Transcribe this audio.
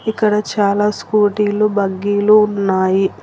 ఇక్కడ చాలా స్కూటీలు బగ్గీలు ఉన్నాయి.